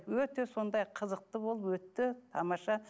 өте сондай қызықты болып өтті тамаша